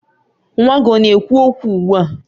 Nwa gị ọ na-ekwu okwu ugbua?